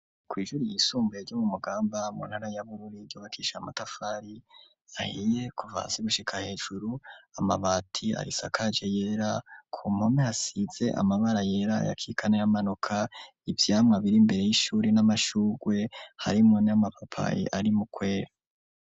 Kw'ishure ryisumbuye ryo mu mugamba mu ntara ya bururi ryubakishije amatafari ahiye kuvasi gushika hejuru amabati arisakage yera ku mpome hasize amabara yera ayakika na y'amanuka ivyamwa biri imbere y'ishure n'amashugwe, harimwo n'amapapayi ari mukwera.